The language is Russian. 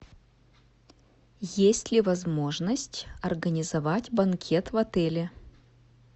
есть ли возможность организовать банкет в отеле